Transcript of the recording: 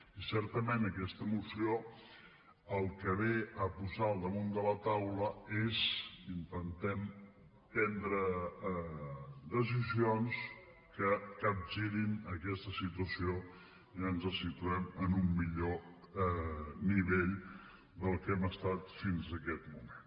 i certament aquesta moció el que ve a posar damunt de la taula és que intentem prendre decisions que capgirin aquesta situació i ens situem en un millor nivell del que hem estat fins aquest moment